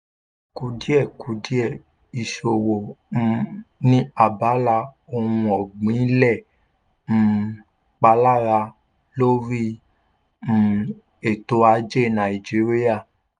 kùdìẹ̀kudiẹ ìsòwò um ní abala ohun ọ̀gbìn lè um palara lórí um ètò ajé nàìjíríà.